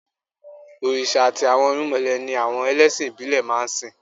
Òrìṣà àti àwọn irúnmọlẹ̀ ni àwọn ẹlẹ́sìn ìbílẹ̀ máa ń sìn